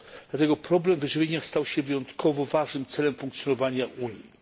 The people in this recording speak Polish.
dlatego problem wyżywienia stał się wyjątkowo ważnym celem funkcjonowania Unii.